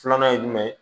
Filanan ye jumɛn ye